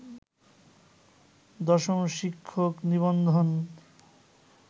১০ম শিক্ষক নিবন্ধন